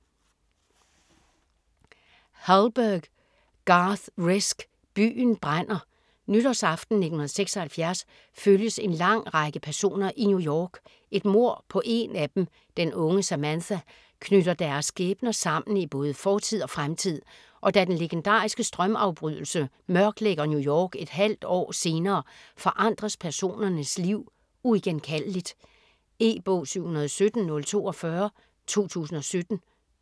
Hallberg, Garth Risk: Byen brænder Nytårsaften 1976 følges en lang række personer i New York. Et mord på en af dem, den unge Samantha, knytter deres skæbner sammen i både fortid og fremtid. Og da den legendariske strømafbrydelse mørklægger New York et halvt år senere, forandres personernes liv uigenkaldeligt. E-bog 717042 2017.